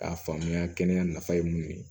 K'a faamuya kɛnɛya nafa ye mun ye